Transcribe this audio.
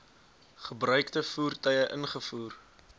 gebruikte voertuie ingevoer